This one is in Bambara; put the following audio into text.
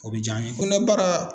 O bi jaa an ye kɔnɔbara